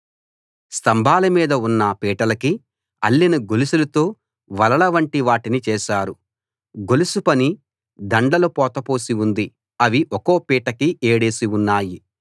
స్తంభాల మీద ఉన్న పీటలకి అల్లిన గొలుసులతో వలల వంటి వాటిని చేసారు గొలుసు పని దండలు పోత పోసి ఉంది అవి ఒక్కో పీటకి ఏడేసి ఉన్నాయి